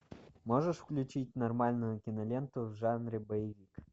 можешь включить нормальную киноленту в жанре боевик